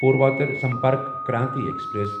Purvottar Sampark Kranti express